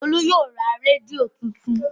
Olú yóò ra rédíò tuntun.